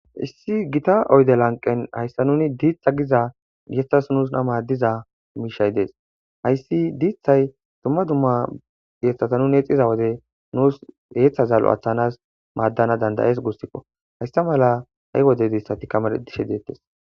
issi gita oyde lanqen hayssa nuni diitha giza geththas nuus na maaddiza miishay dees hayssi diithay dumma dumma yeeththata nun eexiza wode nuus heeththa zallo aththanas maaddana dandayees guussikko hayssa mala ha7i wodediissati kama dishe deettes